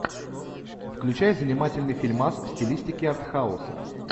включай занимательный фильмас в стилистике артхауса